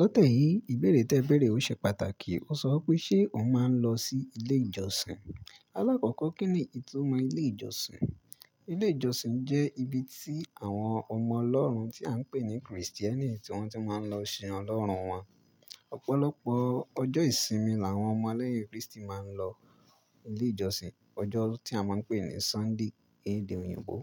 Lọ tẹ́yiì, ìbéèrè tí ẹ béèrè o ṣe pàtàkì o. O sọ pé ṣe o máa ń lọ sí ilé ìjọsìn? Alákọ̀kọ́ kín ni ìtumọ̀ ilé ìjọsìn? Ilé ìjọsìn jẹ́ ibi tí àwọn ọmọ lọ́rùn tí à ń pè ní Kristíẹ́nì tí wọ́n ti máa ń lọ sin Ọlọ́run wọn. Ọ̀pọ̀lọpọ̀ ọjọ́ ìsinmi làwọn ọmọ ẹlẹ́yìn Kristi máa ń lọ ilé ìjọsìn. Ọjọ́ tí a máa ń pè ní Sunday ní èdè òyìnbó.